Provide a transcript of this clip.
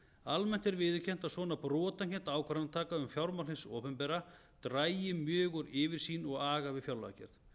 almennt er viðurkennt að svona brotakennd ákvarðanataka um fjármál hins opinbera dragi mjög úr yfirsýn og aga við fjárlagagerð